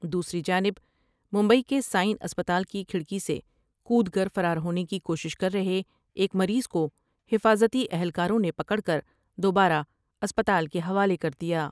دوسری جانب ممبئی کے سائن اسپتال کی کھٹڑ کی سے کو دکر فرار ہونے کی کوشش کر رہے ایک مریض کو حفاظتی اہلکاروں نے پکڑ کر دوبارہ اسپتال کے حوالے کر دیا ۔